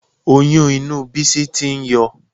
Oyún inú Bísí tí ń yọ